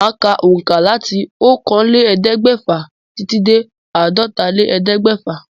Màá ka òǹkà láti okòóélẹ́ẹ̀ẹ́dẹ́gbẹ́fà titi dé àádọ́tálélẹ́ẹ̀ẹ́dẹ́gbẹ́fà